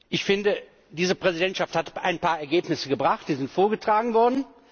Ich finde, diese Präsidentschaft hat ein paar Ergebnisse gebracht, die sind vorgetragen worden.